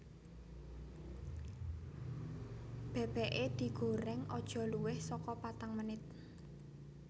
Bebeke digoreng aja luwih soko patang menit